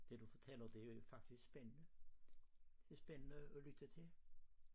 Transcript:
Det du fortæller det er jo faktisk spændende det spændende at lytte til